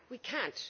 We can't.